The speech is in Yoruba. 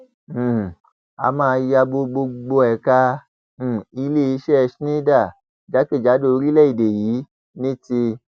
um a máa ya bo gbogbo ẹka um iléeṣẹ i schneider jákèjádò orílẹèdè yìí ní ti